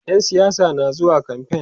ƴan siyasa na zuwa kamfain